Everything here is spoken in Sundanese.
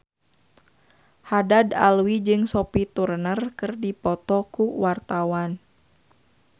Haddad Alwi jeung Sophie Turner keur dipoto ku wartawan